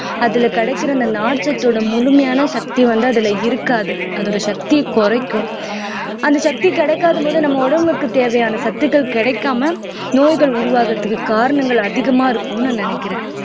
அதுல கிடைக்கிற அந்த நார்ச்சத்தோட முழுமையான சக்தி வந்து அதுல இருக்காது அதோட சக்தியை குறைக்கும் அந்த சக்தி கிடைக்காத போது நம்ம உடம்புக்கு தேவையான சத்துக்கள் கிடைக்காம நோய்கள் உருவாகறதுக்கு காரணங்கள் அதிகமா இருக்கும்னு நான் நினைக்கிறேன்